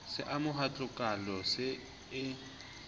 se amoha tlokola se e